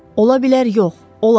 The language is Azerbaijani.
Ola bilər yox, olar.